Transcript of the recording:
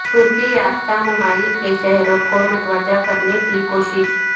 ترقی یافتہ ممالک کے شہریوں کو متوجہ کرنے کی کوشش